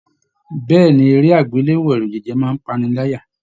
Bẹ̀ẹ́ni, eré agbelewo ẹrujẹjẹ máa n pa'ni láyà.